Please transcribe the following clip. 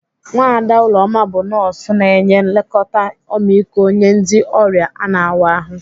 Nwada Uloma bụ nọọsụ na-enye nlekọta ọmịiko nye ndị ọrịa ana-awa ahụ.